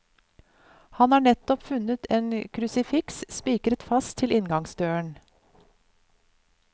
Han har nettopp funnet et krusifiks spikret fast til inngangsdøren.